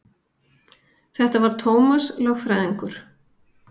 Þetta var Tómas lögfræðingur.